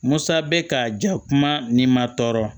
Musa bɛ ka ja kuma ni ma tɔɔrɔ